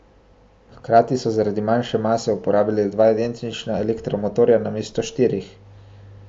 Hkrati so zaradi manjše mase uporabili dva identična elektromotorja namesto štirih.